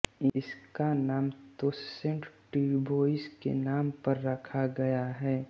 इसका नाम Toussaint Dubois के नाम पर रखा गया है